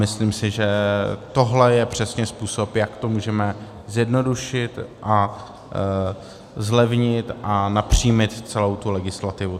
Myslím si, že tohle je přesně způsob, jak to můžeme zjednodušit a zlevnit a napřímit celou tu legislativu.